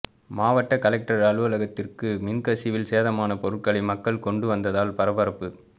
மாவட்ட கலெக்டர் அலுவலகத்திற்கு மின் கசிவில் சேதமான பொருட்களை மக்கள் கொண்டு வந்ததால் பரபரப்பு